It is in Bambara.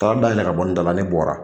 Taa da yɛlɛ ka bɔ n da la ne bɔra